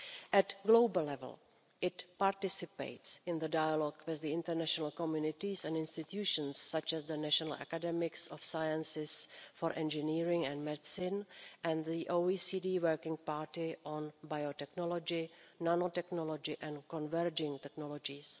At global level it participates in dialogue with international communities and institutions such as the National Academies of Sciences for Engineering and Medicine and the OECD Working Party on Biotechnology, Nanotechnology and Converging Technologies.